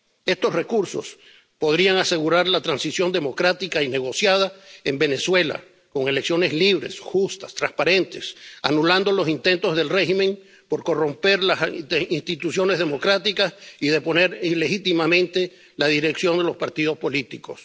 Estos recursos podrían asegurar la transición democrática y negociada en Venezuela, con elecciones libres, justas, transparentes, anulando los intentos del régimen por corromper las instituciones democráticas y deponer ilegítimamente la dirección de los partidos políticos.